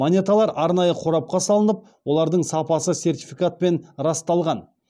монеталар арнайы қорапқа салынып олардың сапасы сертификатпен расталған